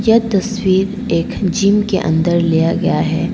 यह तस्वीर एक जिम के अंदर लिया गया है।